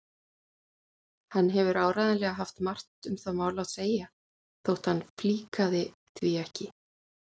Hann hefur áreiðanlega haft margt um það mál að segja þótt hann flíkaði því ekki.